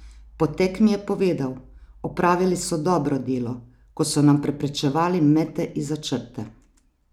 Po tekmi je povedal: "Opravili so dobro delo, ko so nam preprečevali mete izza črte.